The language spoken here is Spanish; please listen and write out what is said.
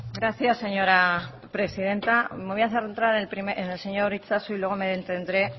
gracias señora presidenta me voy a centrar en el señor itxaso y luego me detendré